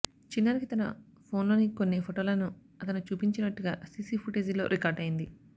చిన్నారికి తన ఫోన్ లోని కొన్ని ఫోటోలను అతను చూపించినట్టుగా సీసీ ఫుటేజీల్లో రికార్డయింది